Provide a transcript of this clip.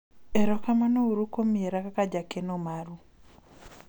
erokamano uru kuom yiera kaka jakeno maru